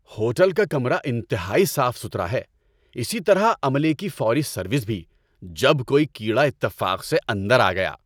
Hotel کا کمرہ انتہائی صاف ستھرا ہے، اسی طرح عملے کی فوری سروس بھی جب کوئی کیڑا اتفاق سے اندر آ گیا۔